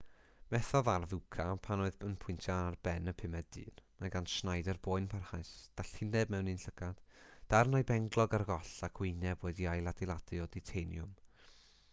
methodd arf uka pan oedd yn pwyntio ar ben y pumed dyn mae gan schneider boen parhaus dallineb mewn un llygad darn o'i benglog ar goll ac wyneb wedi'i ailadeiladu o ditaniwm